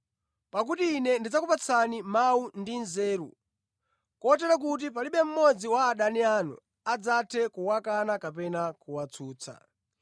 Pakuti Ine ndidzakupatsani mawu ndi nzeru kotero kuti palibe mmodzi wa adani anu adzathe kuwakana kapena kuwatsutsa.